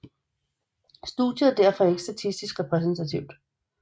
Studiet er derfor ikke statistisk repræsentativt